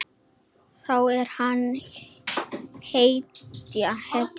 Þá er hann hetja.